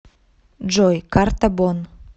джой карта бонн